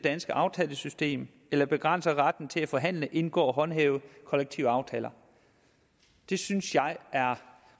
danske aftalesystem eller begrænser retten til at forhandle indgå og håndhæve kollektive aftaler det synes jeg er